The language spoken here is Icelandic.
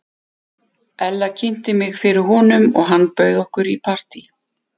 Ella kynnti mig fyrir honum og hann bauð okkur í partí.